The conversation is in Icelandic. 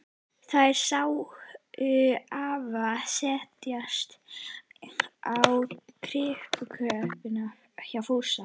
Þær sáu afa setjast á kirkjutröppurnar hjá Fúsa.